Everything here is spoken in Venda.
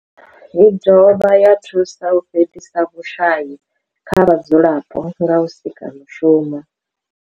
I dovha ya thusa u fhelisa vhushayi kha vhadzulapo nga u sika mishumo.